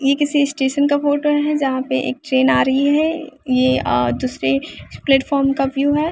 यह किसी स्टेशन का फोटो है यहाँ पे एक ट्रेन आ रही है यह अ दूसरे प्लेटफार्म का व्यू है।